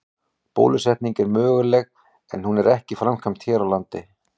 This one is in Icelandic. Bólusetning er möguleg en hún er ekki framkvæmd hér á landi.